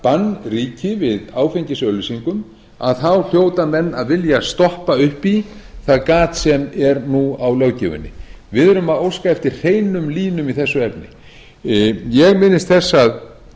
bann ríki við áfengisauglýsingum að þá hljóta menn að vilja stoppa upp í það gat sem er nú á löggjöfinni við erum að óska eftir hreinum línum í þessu efni ég minnist þess að